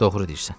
Doğru deyirsən.